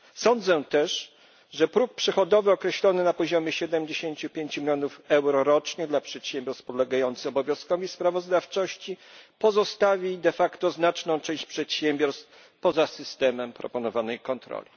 Sądzę też, że próg przychodowy określony na poziomie 75 mln euro rocznie dla przedsiębiorstw podlegających obowiązkowi sprawozdawczości pozostawi znaczną część przedsiębiorstw poza systemem proponowanej kontroli.